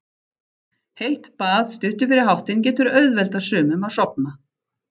Heitt bað stuttu fyrir háttinn getur auðveldað sumum að sofna.